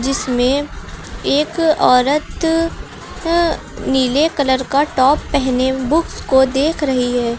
जिसमें एक औरत अं नीले कलर का टॉप पहने बुक्स को देख रही है।